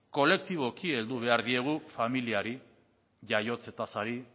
kolektiboki heldu behar diegu familiari jaiotze tasari